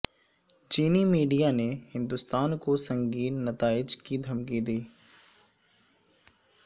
چینی میڈیا نے ہندوستان کو سنگین نتائج کی دھمکی دی